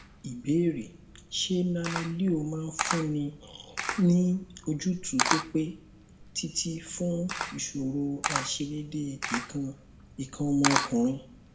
ìbéèrè ṣé nanoleo máa fúnni ní ojútùú tó pẹ títí fun ìṣòro aisedede ikan ikan omo okunrin